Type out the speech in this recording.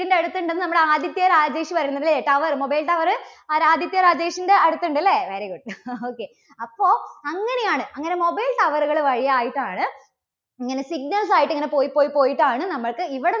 ൻറെ വീടിന്റെ അടുത്തുണ്ടെന്ന് നമ്മുടെ ആദിത്യ രാജേഷ് പറയുന്നു അല്ലേ? tower, mobile tower ആരാ ആദിത്യ രാജേഷിന്റെ അടുത്തുണ്ട് അല്ലേ? very good, okay. അപ്പോ അങ്ങനെയാണ്. അങ്ങനെ mobile tower കൾ വഴി ആയിട്ടാണ് ഇങ്ങനെ signals ആയിട്ട് ഇങ്ങനെ പോയി, പോയി, പോയിട്ടാണ് നമ്മൾക്ക് ഇവിടെ